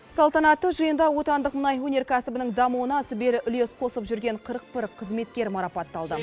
салтанатты жиында отандық мұнай өнеркәсібінің дамуына сүбелі үлес қосып жүрген қырық бір қызметкер марапатталды